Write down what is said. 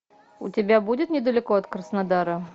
у тебя будет недалеко от краснодара